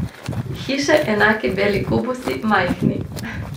Hiše enaki beli kubusi, majhni.